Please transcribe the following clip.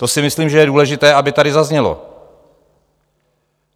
To si myslím, že je důležité, aby tady zaznělo.